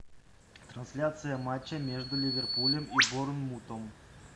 трансляция матча между ливерпулем и борнмутом